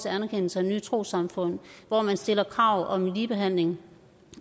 anerkendelse af nye trossamfund at man stiller krav om ligebehandling